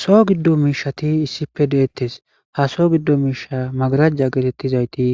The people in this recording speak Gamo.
So giddo miishati issife deettes ha so giddo miisha magarajja geetettizayti